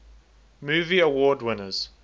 movie award winners